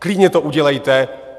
Klidně to udělejte!